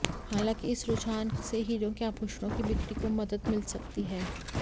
हालांकि इस रुझान से हीरे के आभूषणों की बिक्री को मदद मिल सकती है